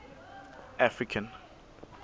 african